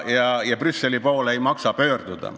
Ja Brüsseli poole ei maksa pöörduda.